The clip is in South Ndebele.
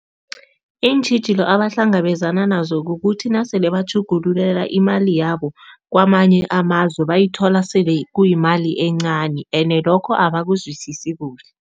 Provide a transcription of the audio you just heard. Iintjhijilo abahlangabezana nazo kukuthi nasele batjhugululela imali yabo kwamanye amazwe, bayithola sele kuyimali encani ene lokho abakuzwisisi kuhle.